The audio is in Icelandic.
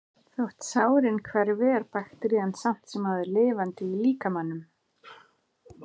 Þótt sárin hverfi er bakterían samt sem áður lifandi í líkamanum.